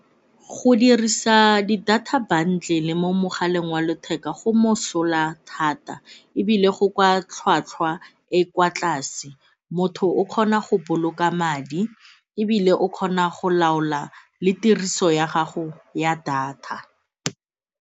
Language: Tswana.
Go dirisa di data bundle-le mo mogaleng wa letheka go mosola thata ebile go kwa tlhwatlhwa e kwa tlase, motho o kgona go boloka madi ebile o kgona go laola le tiriso ya gago ya data.